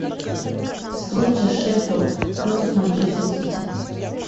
встреча шеффилд против манчестер сити